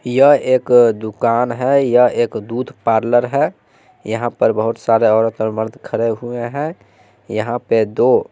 यह एक दुकान है यह एक दूध पार्लर है यहां पर बहोत सारे औरत और मर्द खड़े हुए हैं यहां पे दो--